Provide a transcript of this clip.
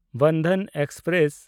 Bandhan express